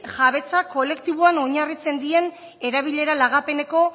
jabetza kolektiboan oinarritzen dien erabilera lagapeneko